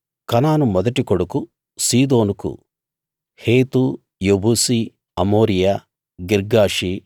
కనాను మొదటి కొడుకు సీదోనుకు హేతు యెబూసీ అమోరీయ గిర్గాషీ